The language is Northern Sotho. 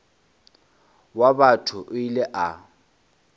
wa batho o ile a